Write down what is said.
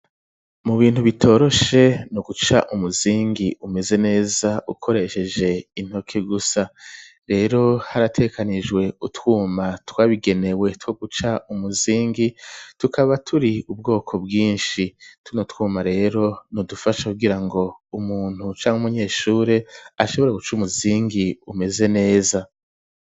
Mu bintu bitoroshe, ni uguca umuzingi umeze neza ukoresheje intoke gusa; rero harategekanijwe utwuma twabigenewe two guca umuzingi, tukaba turi ubwoko bwinshi; tuno twuma rero ni udufasha kugira ngo umuntu canke umunyeshure, ashobora guca umuzingi umeze neza.